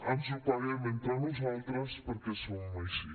ens ho paguem entre nosaltres perquè som així